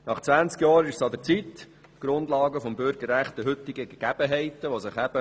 Nach 20 Jahren ist es an der Zeit, die Grundlagen des Bürgerrechts den heutigen Gegebenheiten anzupassen.